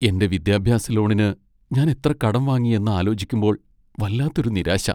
എന്റെ വിദ്യാഭ്യാസ ലോണിന് ഞാൻ എത്ര കടം വാങ്ങിയെന്നാലോചിക്കുമ്പോൾ വല്ലാത്തൊരു നിരാശ.